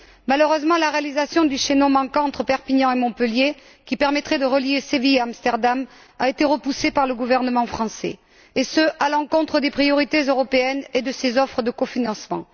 Malheureusement, la réalisation du chaînon manquant entre Perpignan et Montpellier, qui permettrait de relier Séville à Amsterdam, a été repoussée par le gouvernement français et ce, à l'encontre des priorités européennes et de ses offres de cofinancement.